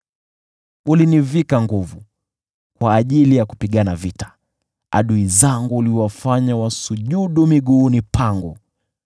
Ulinivika nguvu kwa ajili ya kupigana vita; uliwafanya adui zangu wasujudu miguuni pangu.